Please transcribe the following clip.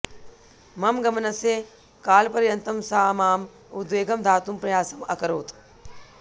मम गमनस्य कालपर्यन्तं सा मां उद्वेगं दातुं प्रयासम् अकरोत्